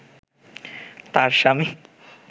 তার স্বামী